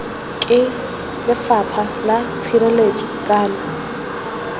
ke lefapha la tshireletso kana